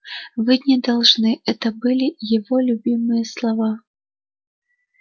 вы не должны это были его любимые слова